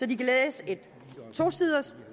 de kan læse et